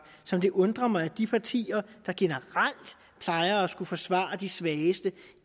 så det undrer mig at de partier der generelt plejer at skulle forsvare de svageste